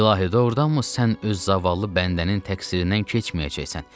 İlahi, doğrudanmı sən öz zavallı bəndənin təqsirindən keçməyəcəksən?